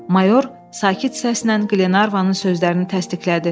Mayor sakit səslə Qlenarvanın sözlərini təsdiqlədi.